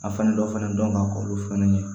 A fani dɔ fana dɔn ka k'olu fɛnɛ ye